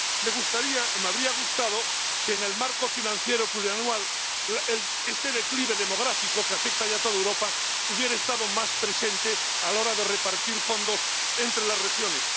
Me gustaría, o me habría gustado, que en el marco financiero plurianual este declive demográfico que afecta ya a toda Europa hubiera estado más presente a la hora de repartir fondos entre las regiones.